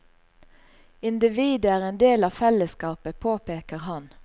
Individet er en del av fellesskapet, påpeker han.